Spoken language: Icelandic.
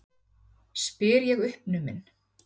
spyr ég uppnumin.